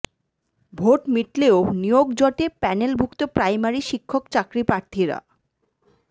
vote মিটলেও নিয়োগ জটে প্যানেলভুক্ত প্রাইমারি শিক্ষক চাকরি প্রার্থীরা